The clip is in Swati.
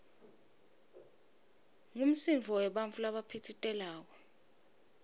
ngumsindvo webantfu labaphitsitelako